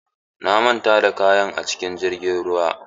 Na manta da kayan cikin jirgin ruwa.